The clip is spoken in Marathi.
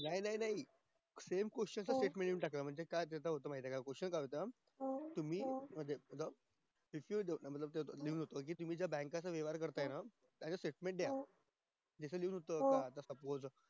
नाही नाही same question च्या step लिहून टाकले काय कसं माहित ये क question काय होता कि मी तुम्ही तुमच्या bank के चा वेव्हार करताय नात्याचं stastment दया